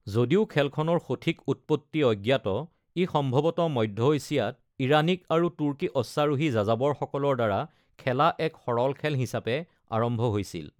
যদিও খেলখনৰ সঠিক উৎপত্তি অজ্ঞাত, ই সম্ভৱতঃ মধ্য এছিয়াত ইৰাণিক আৰু তুৰ্কী অশ্বাৰোহী যাযাবৰসকলৰ দ্বাৰা খেলা এক সৰল খেল হিচাপে আৰম্ভ হৈছিল।